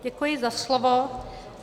Děkuji za slovo.